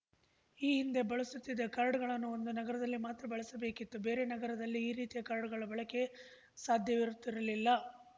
ಈ ಹಿಂದೆ ಬಳಸುತ್ತಿದ್ದ ಕಾರ್ಡ್‌ಗಳನ್ನು ಒಂದು ನಗರದಲ್ಲಿ ಮಾತ್ರ ಬಳಸಬೇಕಿತ್ತು ಬೇರೆ ನಗರದಲ್ಲಿ ಈ ರೀತಿಯ ಕಾರ್ಡ್ ಬಳಕೆ ಸಾಧ್ಯವಿರುತ್ತಿರಲಿಲ್ಲ